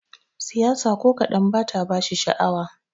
Siyasa ko kadan bata bashi sha'awa.